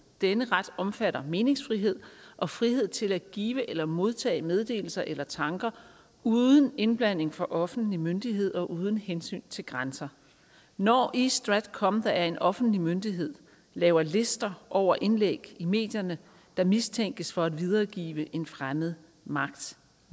denne ret omfatter meningsfrihed og frihed til at give eller modtage meddelelser eller tanker uden indblanding fra offentlig myndighed og uden hensyn til grænser når east stratcom der er en offentlig myndighed laver lister over indlæg i medierne der mistænkes for at videregive en fremmed magts